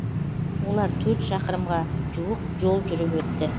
олар төрт шақырымға жуық жол жүріп өтті